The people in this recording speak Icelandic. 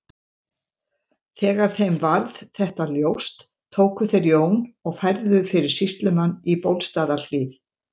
Þegar þeim varð þetta ljóst tóku þeir Jón og færðu fyrir sýslumann í Bólstaðarhlíð.